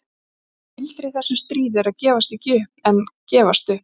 Það sem gildir í þessu stríði er að gefast ekki upp en gefast upp.